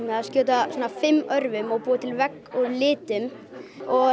að skjóta fimm örvum og búa til vegg úr litum og